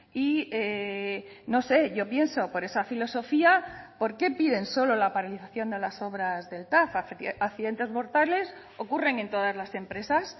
y no sé yo pienso por esa filosofía por qué piden solo la paralización de las obras del tav accidentes mortales ocurren en todas las empresas